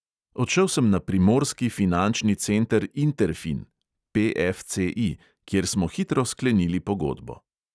Odšel sem na primorski finančni center interfin kjer smo hitro sklenili pogodbo.